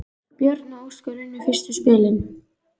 Björn og Óskar unnu fyrstu spilin.